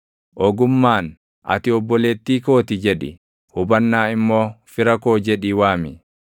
Ogummaan, “Ati obboleettii koo ti” jedhi; hubannaa immoo, fira koo jedhii waami;